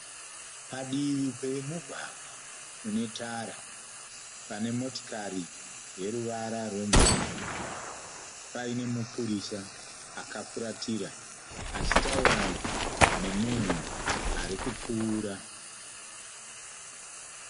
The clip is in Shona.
Padivi pemugwagwa une tara. Pane motokari yeruwara rwemvura Paine mupurisa akafuratira achitaura nemunhu arikupfuura.